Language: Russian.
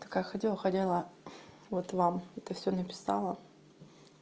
такая ходила ходила вот вам это всё написала